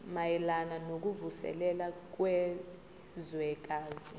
mayelana nokuvuselela kwezwekazi